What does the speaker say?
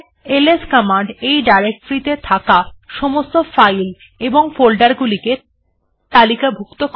LS command এই ডাইরেকটরিটিতে থাকা সমস্ত ফাইল এবং ফোল্ডার গুলিকে তালিকাভুক্ত করে